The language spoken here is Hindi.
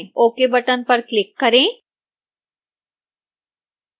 ok button पर click करें